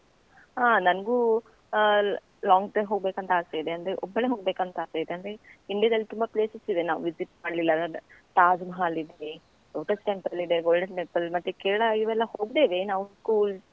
ಹಾ ನನ್ಗೂ ಆ long drive ಹೋಗ್ಬೇಕಂತ ಆಸೆ ಇದೆ ಅಂದ್ರೆ, ಒಬ್ಬಳೇ ಹೋಗ್ಬೇಕಂತ ಆಸೆ ಇದೆ, ಅಂದ್ರೆ India ದಲ್ಲಿ ತುಂಬ places ಇದೆ ನಾವು visit ಮಾಡ್ಲಿಲ್ಲದು ತಾಜ್‌ಮಹಲ್‌ ಇದೆ, Lotus Temple ಇದೆ, Golden Temple ಮತ್ತೆ ಕೇರಳ, ಇವೆಲ್ಲ ಹೋಗಿದ್ದೇವೆ ನಾವು school .